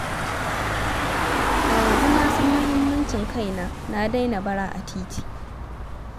A yanzu na san muhimmancin kaina na daina bara a titi